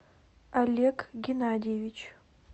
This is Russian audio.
олег геннадьевич